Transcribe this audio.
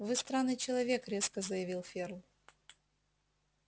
вы странный человек резко заявил ферл